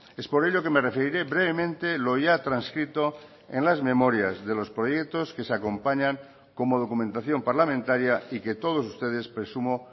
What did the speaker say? es por ello que me referiré brevemente lo ya transcrito en las memorias de los proyectos que se acompañan como documentación parlamentaria y que todos ustedes presumo